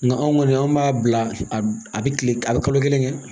Nga anw kɔni an b'a bila a bɛ kile a bɛ kalo kelen kɛ